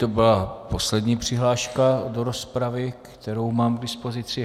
To byla poslední přihláška do rozpravy, kterou mám k dispozici.